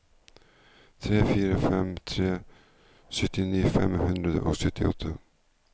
tre fire fem tre syttini fem hundre og syttiåtte